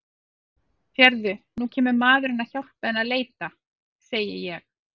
Sérðu, nú kemur maðurinn að hjálpa henni að leita, segi ég.